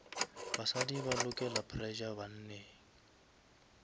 basadi ba lokela pressure banneng